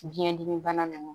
Biyɛn dimi bana ninnu